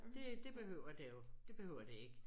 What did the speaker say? Det det behøver det jo det behøver det ikke